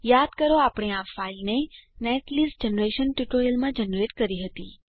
યાદ કરો આપણે આ ફાઈલને નેટલિસ્ટ જનરેશન ટ્યુટોરીયલમાં જનરેટ કરી હતી